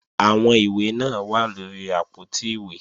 Àwọn ìwé náà wà lóri àpótí ìwé